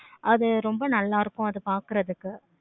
அது ரொம்ப நல்ல இருக்கும். அது பார்க்கறதுக்கு